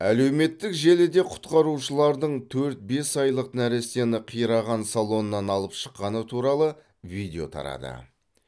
әлеуметтік желіде құтқарушылардың төрт бес айлық нәрестені қираған салоннан алып шыққаны туралы видео тарады